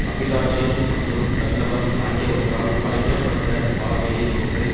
அபிலாசை மற்றும் தன்னலம் ஆகியவற்றால் மறைக்க பட்ட பார்வையை கொண்டு